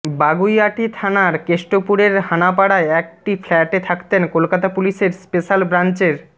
বাগুইআটি থানার কেষ্টপুরের হানাপাড়ায় একটি ফ্ল্যাটে থাকতেন কলকাতা পুলিশের স্পেশ্যাল ব্রাঞ্চের